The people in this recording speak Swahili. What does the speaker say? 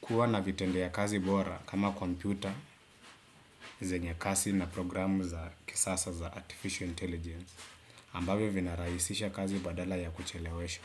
Kuwa na vitende ya kazi bora kama kompyuta, zenye kasi na programu za kisasa za artificial intelligence. Ambavyo vinaraisisha kazi badala ya kuchelewesha.